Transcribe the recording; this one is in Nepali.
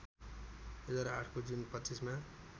२००८ को जुन २५ मा